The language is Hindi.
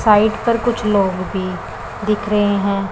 साइड पर कुछ लोग भी दिख रहे हैं।